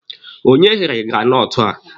Onye ghere granọtụ a?